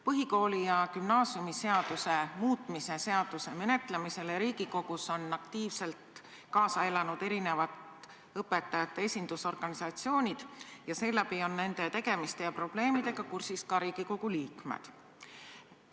Põhikooli- ja gümnaasiumiseaduse muutmise seaduse menetlemisele Riigikogus on aktiivselt kaasa elanud erinevad õpetajate esindusorganisatsioonid ja seeläbi on nende tegemiste ja probleemidega kursis ka Riigikogu liikmed.